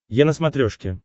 е на смотрешке